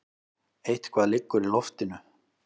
Eitthvað liggur í loftinu!